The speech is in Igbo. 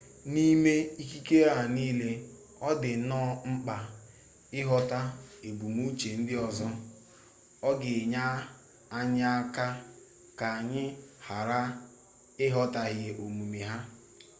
n'ime ikikere a niile ọ dị nnọọ mkpa ịghọta ebumnuche ndị ọzọ ọ ga-enye anyị aka ka anyị ghara ịghọtahie omume ha